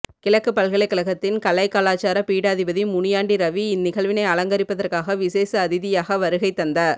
கிழக்கு பல்கலைகழகத்தின் கலைக்கலாசார பீடாதிபதி முனியாண்டி ரவி இந்நிகழ்வினை அலங்கரிப்பதற்காக விஷேட அதிதியாக வருகை தந்த